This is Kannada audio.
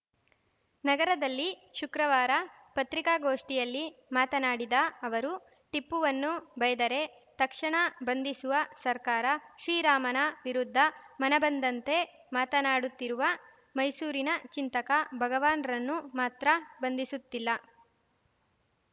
ನಗರದಲ್ಲಿ ಶುಕ್ರವಾರ ಪತ್ರಿಕಾಗೋಷ್ಠಿಯಲ್ಲಿ ಮಾತನಾಡಿದ ಅವರು ಟಿಪ್ಪುವನ್ನು ಬೈದರೆ ತಕ್ಷಣ ಬಂಧಿಸುವ ಸರ್ಕಾರ ಶ್ರೀರಾಮನ ವಿರುದ್ಧ ಮನಬಂದಂತೆ ಮಾತನಾಡುತ್ತಿರುವ ಮೈಸೂರಿನ ಚಿಂತಕ ಭಗವಾನ್‌ರನ್ನು ಮಾತ್ರ ಬಂಧಿಸುತ್ತಿಲ್ಲ